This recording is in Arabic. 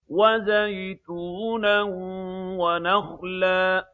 وَزَيْتُونًا وَنَخْلًا